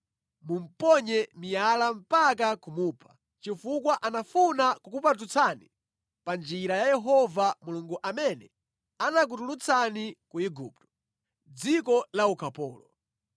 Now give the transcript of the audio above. Mumuponye miyala mpaka kumupha, chifukwa anafuna kukupatutsani pa njira ya Yehova Mulungu amene anakutulutsani ku Igupto, dziko la ukapolo.